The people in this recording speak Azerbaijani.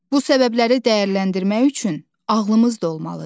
Bu səbəbləri dəyərləndirmək üçün ağlımız da olmalıdır.